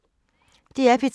DR P3